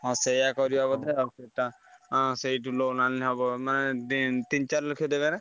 ହଁ ସେୟା କରିବା ବୋଧେ ଆଉ ତା ହାଁ ସେଇଠୁ loan ଆଣିଲେ ହବ ମାନେ ଦି ତିନି ଚାରି ଲକ୍ଷ ଦେବେ ନା?